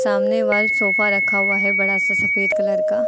सामने वाल सोफा रखा हुआ है बड़ा सा सफेद कलर का।